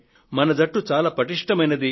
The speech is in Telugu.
మన జట్టు చాలా పటిష్ఠమైంది